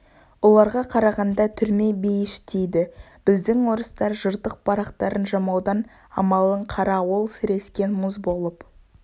оларға қарағанда түрме бейіш дейді біздің орыстар жыртық барақтарын жамаудың амалын қара ол сірескен мұз болып